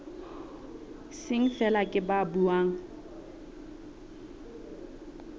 seng feela ke ba buang